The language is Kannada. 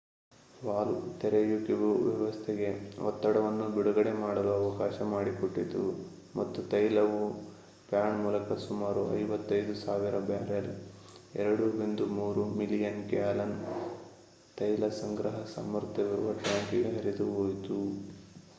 ವಾಲ್ವ್ ತೆರೆಯುವಿಕೆಯು ವ್ಯವಸ್ಥೆಗೆ ಒತ್ತಡವನ್ನು ಬಿಡುಗಡೆ ಮಾಡಲು ಅವಕಾಶ ಮಾಡಿಕೊಟ್ಟಿತು ಮತ್ತು ತೈಲವು ಪ್ಯಾಡ್ ಮೂಲಕ ಸುಮಾರು 55,000 ಬ್ಯಾರೆಲ್ 2.3 ಮಿಲಿಯನ್ ಗ್ಯಾಲನ್ ತೈಲ ಸಂಗ್ರಹ ಸಾಮರ್ಥ್ಯವಿರುವ ಟ್ಯಾಂಕ್‌ಗೆ ಹರಿದುಹೋಯಿತು